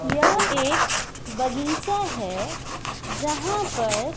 यह एक बगीचा है यहां पर--